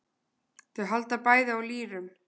Þau halda bæði á lýrum.